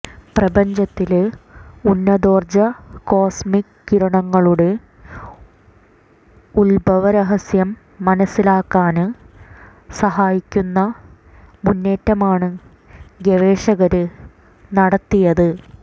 പ്രപഞ്ചത്തില് ഉന്നതോര്ജ കോസ്മിക് കിരണങ്ങളുടെ ഉത്ഭവരഹസ്യം മനസിലാക്കാന് സഹായിക്കുന്ന മുന്നേറ്റമാണ് ഗവേഷകര് നടത്തിയത്